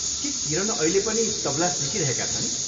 के किरण अहिले पनि तबला सिकिरहेका छन्?